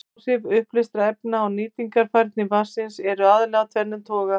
Áhrif uppleystra efna á nýtingarhæfni vatnsins eru aðallega af tvennum toga.